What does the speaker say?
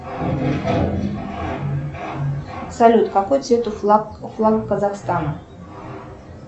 салют какой цвет у флага казахстана